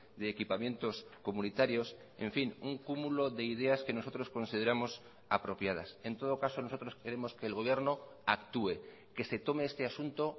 de equipamientos comunitarios en fin un cúmulo de ideas que nosotros consideramos apropiadas en todo caso nosotros queremos que el gobierno actúe que se tome este asunto